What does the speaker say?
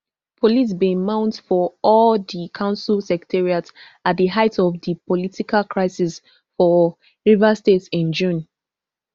police bin mount for all di council secretariats at di height of di political crisis for rivers state in june